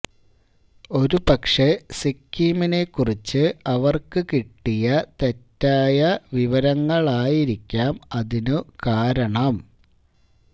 ഒരുപക്ഷേ സിക്കിമിനെ കുറിച്ച് അവര്ക്ക് കിട്ടിയ തെറ്റായ വിവരങ്ങളായിരിക്കാം അതിനു കാരണം